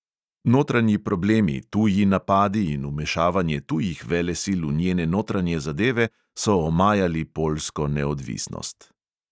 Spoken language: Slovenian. Notranji problemi, tuji napadi in vmešavanje tujih velesil v njene notranje zadeve so omajali poljsko neodvisnost.